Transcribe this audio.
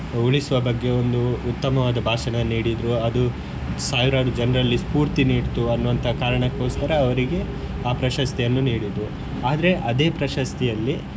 ಉಳಿಸುವ ಬಗ್ಗೆ ಒಂದು ಉತ್ತಮವಾದ ಭಾಷಣ ನೀಡಿದ್ರು ಅದು ಸಾವಿರಾರು ಜನರಲ್ಲಿ ಸ್ಪೂರ್ತಿ ನೀಡ್ತು ಅನ್ನುವಂತಹ ಕಾರಣಕೋಸ್ಕರ ಅವರಿಗೆ ಆ ಪ್ರಶಸ್ತಿಯನ್ನು ನೀಡಿದ್ರು ಆದ್ರೆ ಅದೇ ಪ್ರಶಸ್ತಿಯಲ್ಲಿ.